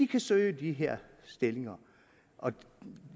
kan søge de her stillinger og